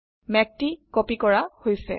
মেঘটি কপি কৰা হৈছে